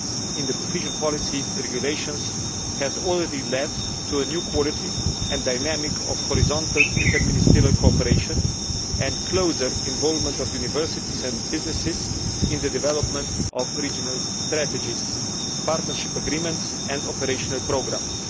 in the Cohesion Policy Regulations has already led to a new quality and dynamic in horizontal inter ministerial cooperation and to closer involvement by universities and businesses in the development of regional strategies, partnership agreements and operational programmes.